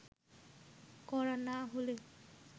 করা না হলে